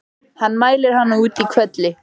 Hann mælir hana út í hvelli.